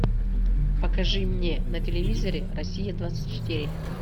покажи мне на телевизоре россия двадцать четыре